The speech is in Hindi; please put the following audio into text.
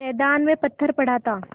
मैदान में पत्थर पड़ा था